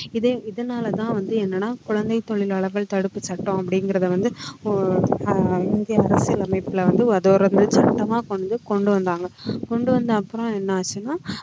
இதே இதனாலதான் வந்து என்னன்னா குழந்தைத் தொழிலாளர்கள் தடுப்புச் அப்படிங்கறத வந்து ஒ~ அஹ் இந்திய அரசியலமைப்புல வந்து சட்டமா கொண்டு வந்தாங்க கொண்டு வந்த அப்புறம் என்ன ஆச்சுன்னா